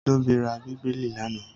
Tóbi ra Bíbélì lánàá?